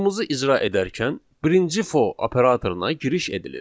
Kodumuzu icra edərkən birinci for operatoruna giriş edilir.